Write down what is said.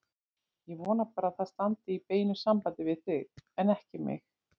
Ég vona bara að það standi í beinu sambandi við þig, en ekki mig.